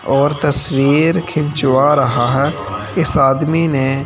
और तस्वीर खिंचवा रहा है इस आदमी ने--